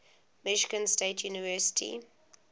michigan state university